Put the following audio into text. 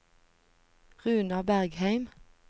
Runar Bergheim